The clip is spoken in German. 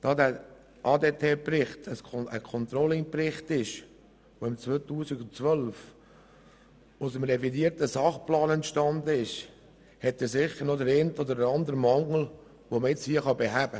Da dieser ADT-Bericht ein Controlling-Bericht ist, der 2012 aus dem revidierten Sachplan entstanden ist, kann man sicher noch den einen oder anderen Mangel beheben.